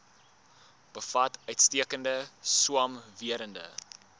bevat uitstekende swamwerende